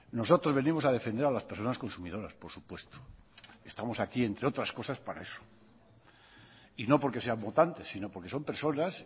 nosotros venimos a defender a las personas consumidoras por supuesto estamos aquí entre otras cosas para eso y no porque sean votantes sino porque son personas